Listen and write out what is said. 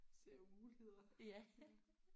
Ser jo muligheder